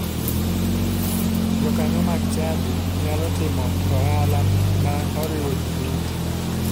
Jokanyo mag chadi nyalo timo ohala ma oriwo ji duto.